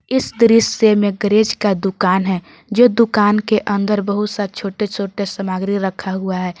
इस दृश्य में गैरेज का दुकान है जो दुकान के अंदर बहुत सा छोटे छोटे सामग्री रखा हुआ है।